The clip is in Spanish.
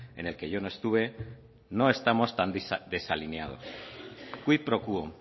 en el que yo no estuve no estamos tan desalineados quid pro quo